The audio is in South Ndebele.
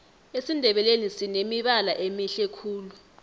esindebeleni sinemibala emihle khulu